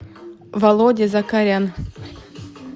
володя закарян